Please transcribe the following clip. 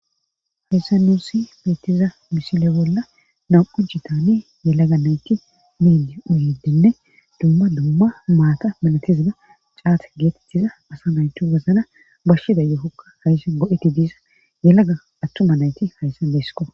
Hayssa nuusi beettiza misile bolla nam7u jitani yelaga nayti midi uyidenne dumma dumma maata minatiziga caat geetettiza asa naytu gazana bashshida yokokka hayssa go7eti diiza yelaga attuma nayti hayssa beesiko.